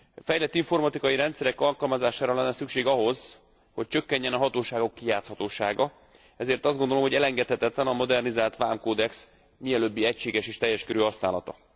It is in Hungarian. Fejlett informatikai rendszerek alkalmazására lenne szükség ahhoz, hogy csökkenjen a hatóságok kijátszhatósága, ezért azt gondolom, hogy elengedhetetlen a modernizált vámkódex mielőbbi egységes és teljes körű használata.